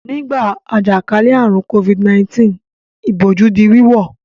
Nígbà àjàkálẹ̀ àrùn Covid-19 ìbòjú di wíwọ̀.